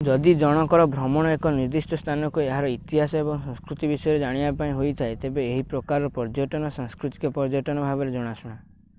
ଯଦି ଜଣଙ୍କର ଭ୍ରମଣ ଏକ ନିର୍ଦ୍ଦିଷ୍ଟ ସ୍ଥାନକୁ ଏହାର ଇତିହାସ ଏବଂ ସଂସ୍କୃତି ବିଷୟରେ ଜାଣିବା ପାଇଁ ହେଇଥାଏ ତେବେ ଏହି ପ୍ରକାର ପର୍ଯ୍ୟଟନ ସାଂସ୍କୃତିକ ପର୍ଯ୍ୟଟନ ଭାବରେ ଜଣାଶୁଣା